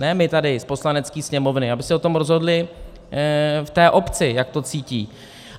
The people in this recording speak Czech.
Ne my tady z Poslanecké sněmovny, aby si o tom rozhodli v té obci, jak to cítí.